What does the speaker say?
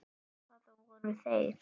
Það voru þeir